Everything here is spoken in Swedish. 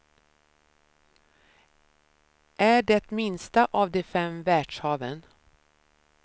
Är det minsta av de fem världshaven.